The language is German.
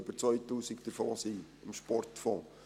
Über 2000 davon sind beim Sportfonds.